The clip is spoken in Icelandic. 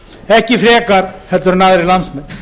ekki frekar en aðrir landsmenn